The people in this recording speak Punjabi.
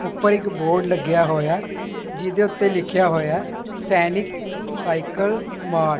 ਉੱਪਰ ਇੱਕ ਬੋਰਡ ਲੱਗਿਆ ਹੋਇਆ ਹੈ ਜਿਹਦੇ ਉੱਤੇ ਲਿੱਖਿਆ ਹੋਇਆ ਸੈਨਿਕ ਸਾਈਕਲ ਮਾਰਟ ।